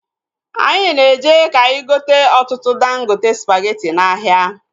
Anyị na-eje ka anyị gote ọtụtụ dangote spageti n'ahịa